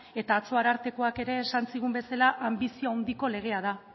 eta atzo arartekoak ere esan zigun bezala anbizio handiko legea da